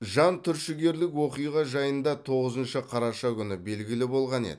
жантүршігерлік оқиға жайында тоғызыншы қараша күні белгілі болған еді